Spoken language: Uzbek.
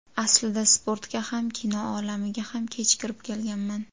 Aslida sportga ham, kino olamiga ham kech kirib kelganman.